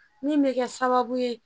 Min bɛ kɛ sababu ye